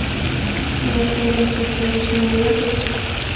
я в пятницу прежде чем уехать